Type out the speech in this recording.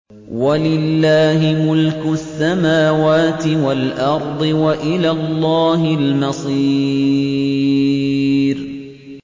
وَلِلَّهِ مُلْكُ السَّمَاوَاتِ وَالْأَرْضِ ۖ وَإِلَى اللَّهِ الْمَصِيرُ